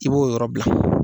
I b'o yɔrɔ bila.